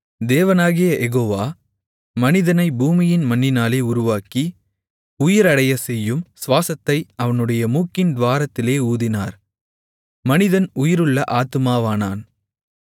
தேவனாகிய யெகோவா மனிதனை பூமியின் மண்ணினாலே உருவாக்கி உயிரடையச்செய்யும் சுவாசத்தை அவனுடைய மூக்கின் துவாரத்திலே ஊதினார் மனிதன் உயிருள்ள ஆத்துமாவானான்